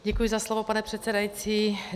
Děkuji za slovo, pane předsedající.